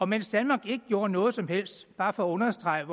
mens danmark ikke gjorde noget som helst bare for at understrege